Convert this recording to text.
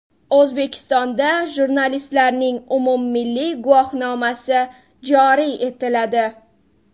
O‘zbekistonda jurnalistlarning umummilliy guvohnomasi joriy etiladi.